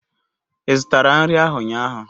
Ị zụtara nri ahu ụnyaahụ?